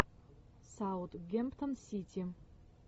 саутгемптон сити